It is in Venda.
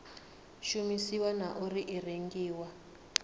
shumisiwa na uri i rengiwa